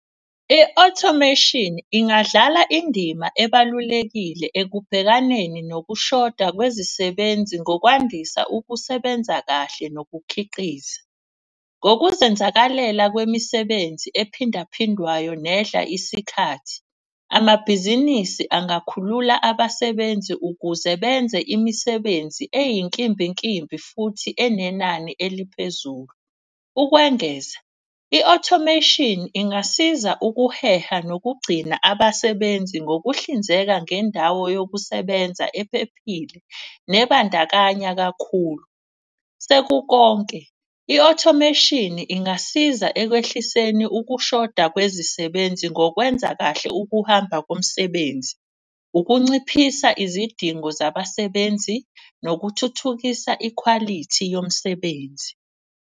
I-automation ingadlala indima ebalulekile ekubhekaneni nokushoda kwezisebenzi ngokwandisa ukusebenza kahle nokukhiqiza. Ngokuzenzakalela kwemisebenzi ephindaphindwayo nedla isikhathi. Amabhizinisi angakhulula abasebenzi ukuze benze imisebenzi eyinkimbinkimbi futhi enenani eliphezulu. Ukwengeza i-automation ingasiza ukuheha nokugcina abasebenzi ngokuhlinzeka ngendawo yokusebenza ephephile, nebandakanya kakhulu. Sekukonke i-automation ingasiza ekwehliseni ukushoda kwezisebenzi ngokwenza kahle ukuhamba komsebenzi. Ukunciphisa izidingo zabasebenzi nokuthuthukisa ikhwalithi yomsebenzi.